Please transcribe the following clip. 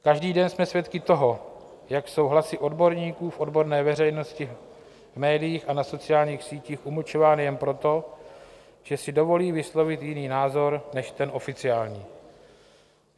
Každý den jsme svědky toho, jak jsou hlasy odborníků v odborné veřejnosti v médiích a na sociálních sítích umlčovány jen proto, že si dovolí vyslovit jiný názor než ten oficiální.